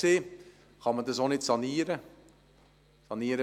Auch wurde darüber gesprochen, ob man das Gebäude sanieren könnte.